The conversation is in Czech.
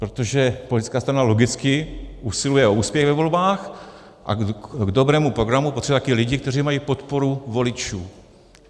Protože politická strana logicky usiluje o úspěch ve volbách a k dobrému programu potřebuje také lidi, kteří mají podporu voličů.